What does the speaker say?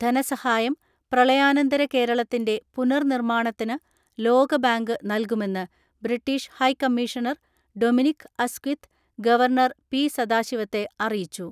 ധനസഹായം പ്രളയാനന്തര കേരളത്തിന്റെ പുനർനിർമ്മാണത്തിന് ലോകബാങ്ക് നൽകുമെന്ന് British high commissioner Dominic Asquith governor P സദാശിവത്തെ അറിയിച്ചു.